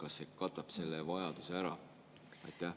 Kas see katab selle vajaduse ära?